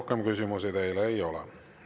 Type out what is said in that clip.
Rohkem küsimusi teile ei ole.